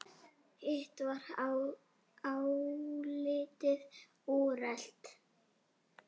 Hitt var álitið úrelt.